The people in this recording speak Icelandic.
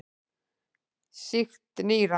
Sýkt nýra.